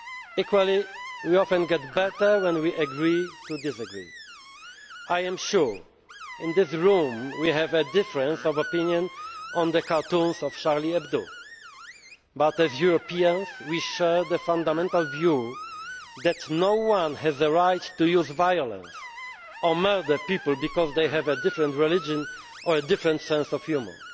creative. Equally, we often get better when we agree to disagree. I am sure that in this room we have a difference of opinion on the Charlie Hebdo cartoons, but as Europeans we share the fundamental view that no one has a right to use violence or to murder people because they have a different religion or a different sense